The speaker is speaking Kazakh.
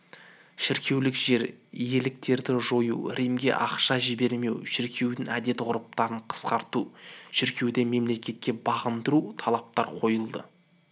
шіркеулік жер иеліктерді жою римге ақша жібермеу шіркеудің әдет-ғұрыптарын қысқарту шіркеуді мемлекетке бағындыру талаптар қойылды